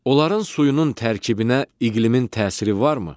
Onların suyunun tərkibinə iqlimin təsiri varmı?